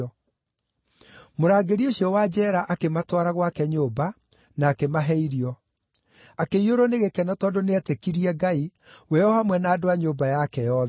Mũrangĩri ũcio wa njeera akĩmatwara gwake nyũmba, na akĩmahe irio. Akĩiyũrwo nĩ gĩkeno tondũ nĩeetĩkirie Ngai, we o hamwe na andũ a nyũmba yake yothe.